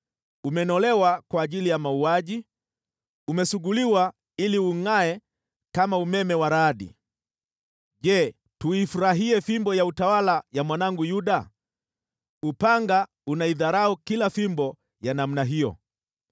umenolewa kwa ajili ya mauaji, umesuguliwa ili ungʼae kama umeme wa radi! “ ‘Je, tuifurahie fimbo ya utawala ya mwanangu Yuda? Upanga unaidharau kila fimbo ya namna hiyo.